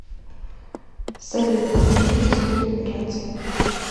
салют покажи мне историю операций